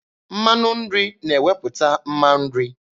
Mmanụ nri na-ewepụta mma nri.